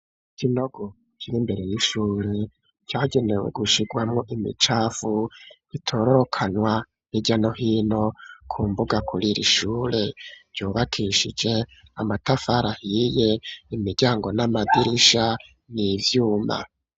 Ikinogo kiri imbere y'ishure cagenewe gushirwamwo imicafu itororokanwa hirya no hino ku mbuga kuriri shure ryubakishije amatafari ahiye imiryango n'amadirisha n'ivyuma.